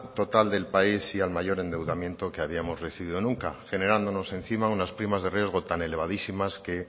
total del país y mayor endeudamiento que habíamos recibido nunca generándonos encima unas primas de riesgo tan elevadísimas que